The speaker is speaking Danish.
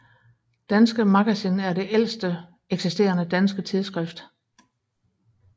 Danske Magazin er det ældste eksisterende danske tidsskrift